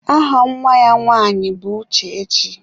Aha Nwa ya nwaanyị bụ Uchechi.